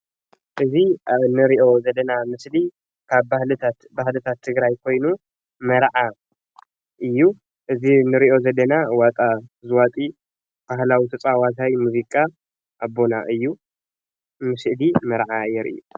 እዚ ኣብ እንሪኦ ዘለና ምስሊ ካብ ባህልታት ባህልታት ትግራይ ኮይኑ መርዓ እዩ። እዚ ንሪኦ ዘለና ዋጣ ዝዋጢ ባህላዊ ተጻዋታይ ሙዚቃ ኣቦና እዩ። ዚ ስእሊ መርዓ የርኢ።